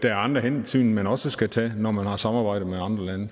er andre hensyn man også skal tage når man har samarbejde med andre lande